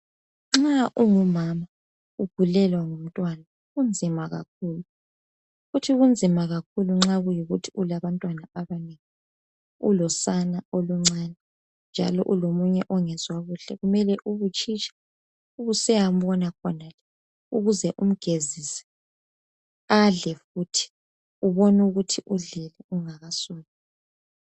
nxa ungu mama ugulelwa ngumntwana kunzima kakhulu futhi kunzima kakhulu nxa kuyikuthi ulabantwana abanengi ulosana oluncane njalo ulomunye ongezwa kuhle kumele ube utshitsha usiyambona khonale ukuze umgezise adlel futhi ubone ukuthi udlile ungakasuki